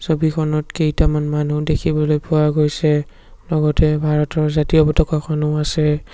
ছবিখনত কেইটামান মানুহ দেখিবলৈ পোৱা গৈছে লগতে ভাৰতৰ জাতীয় পতকাখনো আছে।